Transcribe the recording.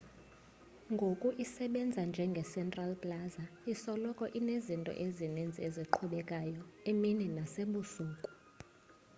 ngoku isebenza njenge central plaza isoloko inezinto ezininzi eziqhubekayo emini nasebusuku